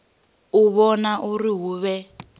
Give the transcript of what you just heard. u vhona uri hu vhe